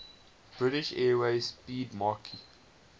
british airways 'speedmarque